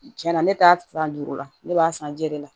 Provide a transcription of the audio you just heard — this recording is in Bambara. Tiɲɛ na ne t'a san duuru la ne b'a san jɛ de la